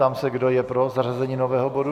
Ptám se, kdo je pro zařazení nového bodu.